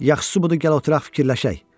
Yaxşısı budur gəl oturaq, fikirləşək.